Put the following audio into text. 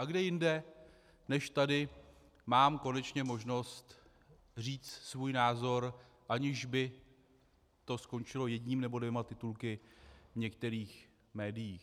A kde jinde než tady mám konečně možnost říct svůj názor, aniž by to skončilo jedním nebo dvěma titulky v některých médiích.